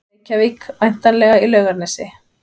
Reykjavík, væntanlega í Laugarnesi.